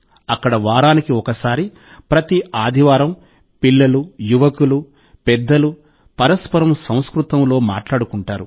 అక్కడ వారానికి ఒకసారి ప్రతి ఆదివారం పిల్లలు యువకులు పెద్దలు పరస్పరం సంస్కృతంలో మాట్లాడుకుంటారు